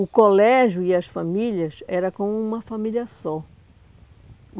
O colégio e as famílias era como uma família só.